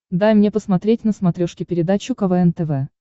дай мне посмотреть на смотрешке передачу квн тв